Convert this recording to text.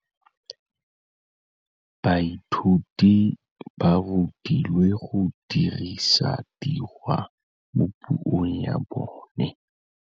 Baithuti ba rutilwe go dirisa tirwa mo puong ya bone.